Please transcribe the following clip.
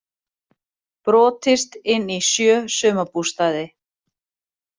Brotist inn í sjö sumarbústaði